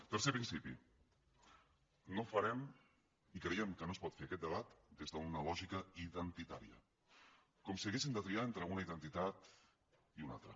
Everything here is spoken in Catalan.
tercer principi no farem i creiem que no es pot fer aquest debat des d’una lògica identitària com si haguéssim de triar entre una identitat i una altra